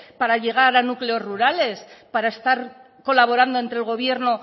para llegar a núcleos rurales para estar colaborando entre el gobierno